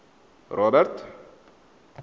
robert